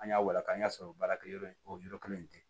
An y'a walankata an y'a sɔrɔ baarakɛ yɔrɔ in o yɔrɔ kelen ten